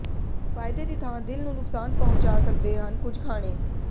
ਫ਼ਾਇਦੇ ਦੀ ਥਾਂ ਦਿਲ ਨੂੰ ਨੁਕਸਾਨ ਪਹੁੰਚਾ ਸਕਦੇ ਹਨ ਕੁਝ ਖਾਣੇ